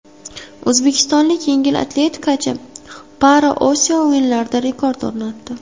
O‘zbekistonlik yengil atletikachi ParaOsiyo o‘yinlarida rekord o‘rnatdi.